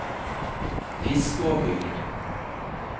Fiskåbygd